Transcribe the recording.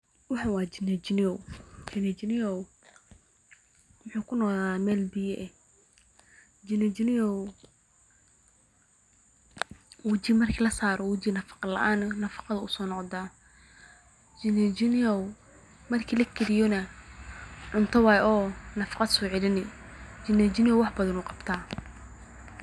Waxan wa jijin jinyow wuxu kunolada meel biyo ah oo wajiga marka lasaro wajiga nafaqo ayu usoceliya marka cunta ahaan locunana nafaqo ayu jirka usoceliya.